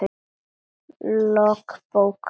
Lok bókar